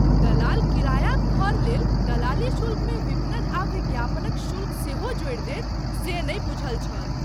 दलाल किरायाक घर लेल दलाली शुल्कमे विपणन आ विज्ञापनक शुल्क सेहो जोड़ि देत से नहि बूझल छल।